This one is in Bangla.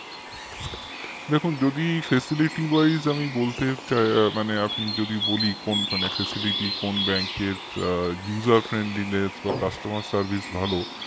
দেখুন যদি facilitywise আমি বলতে চাই আপনি যদি বলি মানে কোন bank র মানে user friendliness বা customerservice ভালো